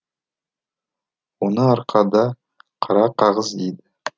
оны арқада қара қағыс дейді